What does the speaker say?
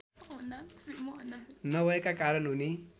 नभएका कारण उनी